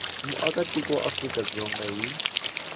muakatiko wa afrika dzonga hi